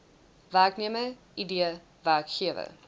werknemer id werkgewer